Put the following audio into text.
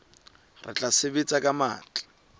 re tla sebetsa ka matla